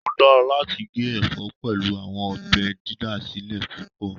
O dara lati ge ẹfọ pẹlu awọn ọbẹ didasilẹ pupọ